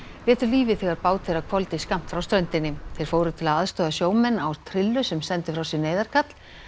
létu lífið þegar bát þeirra hvolfdi skammt frá ströndinni þeir fóru til aðstoðar sjómönnum á trillu sem sendu frá sér neyðarkall